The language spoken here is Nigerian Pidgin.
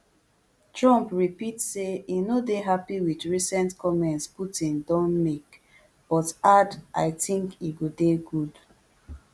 trump repeat say e no dey happy with recent comments putin don make but add i tink e go dey good